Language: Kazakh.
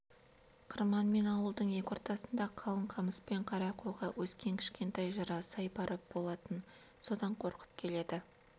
қырман мен ауылдың екі ортасында қалың қамыс пен қара қоға өскен кішкентай жыра-сай бар болатын содан қорқып келеді